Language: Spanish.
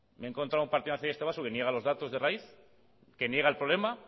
me he encontrado a un partido nacionalista vasco que niega los datos de raíz que niega el problema